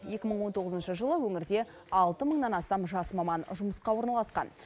екі мың он тоғызыншы жылы өңірде алты мыңнан астам жас маман жұмысқа орналасқан